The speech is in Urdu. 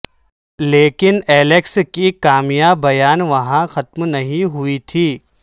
لیکن الیکس کی کامیابیاں وہاں ختم نہیں ہوئی تھیں